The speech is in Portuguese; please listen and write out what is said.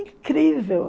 Incrível!